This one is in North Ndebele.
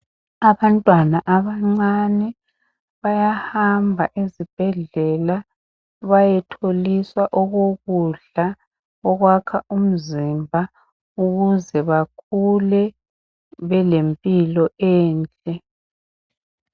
Abantwana abancane bayahamba ezibhedlela bayetholiswa okokudla okwakha umzimba ukuze bakhule belempilo enhle.